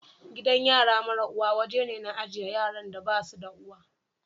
Gidan yara mara uwa woje ne na ajie yaran da basu da uwa.